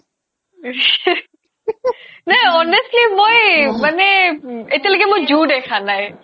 এ honestly মই মানে উম এতিয়ালৈ মই zoo দেখা নাই